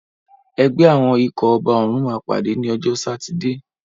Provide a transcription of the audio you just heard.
Ẹgbẹ́ àwọn ikọ̀ ọba òrùn máa pàdé ní ọjọ́ sátidé.